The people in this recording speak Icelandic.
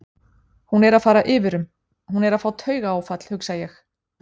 Hún er að fara yfir um, hún er að fá taugaáfall, hugsa ég-